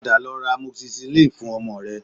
Padà lọ ra amoxicillin fun ọmọ rẹ